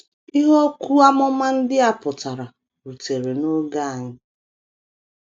Ihe okwu amụma ndị a pụtara rutere n’oge anyị.